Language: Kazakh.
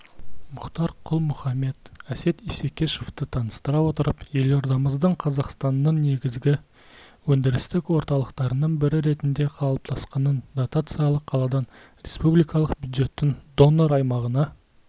мұхтар құл-мұхаммед әсет исекешевті таныстыра отырып елордамыздың қазақстанның негізгі өндірістік орталықтарының бірі ретінде қалыптасқанын дотациялық қаладан республикалық бюджеттің донор-аймағына